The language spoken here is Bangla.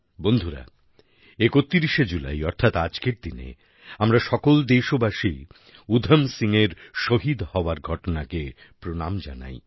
বন্ধুরা ৩১শে জুলাই অর্থাৎ আজকের দিনে আমরা সকল দেশবাসী উধম সিংয়ের শহীদ হওয়ার ঘটনাকে প্রণাম জানাই